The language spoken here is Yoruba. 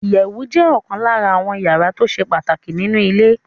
Ìyẹ̀wù jẹ́ ọ̀kan lára àwọ́n yàrá tó ṣe pàtàkì nínu ilé